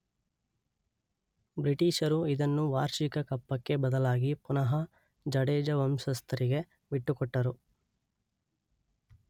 ಬ್ರಿಟಿಷರು ಇದನ್ನು ವಾರ್ಷಿಕ ಕಪ್ಪಕ್ಕೆ ಬದಲಾಗಿ ಪುನಃ ಜಡೇಜ ವಂಶಸ್ಥರಿಗೆ ಬಿಟ್ಟುಕೊಟ್ಟರು.